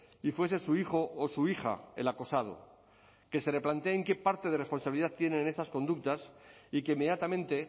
y fuese su hijo o su hija el acosado que se replanteen qué parte de responsabilidad tienen en estas conductas y que inmediatamente